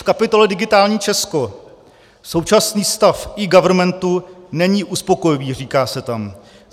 V kapitole Digitální Česko současný stav eGovernmentu není uspokojivý, říká se tam.